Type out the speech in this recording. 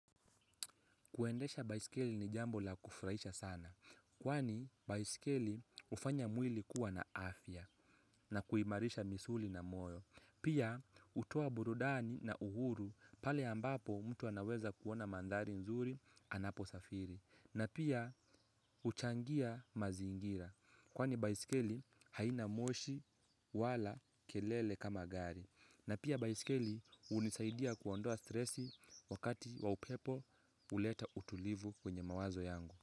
Kuendesha baisikeli ni jambo la kufuraisha sana, kwani baisikeli hufanya mwili kuwa na afya na kuimarisha misuli na moyo. Pia hutoa burudani na uhuru pale ambapo mtu anaweza kuona mandhari nzuri anaposafiri. Na pia huchangia mazingira, kwani baisikeli haina moshi wala kelele kama gari. Na pia baiskeli hunisaidia kuondoa stress, wakati wa upepo, huleta utulivu kwenye mawazo yangu.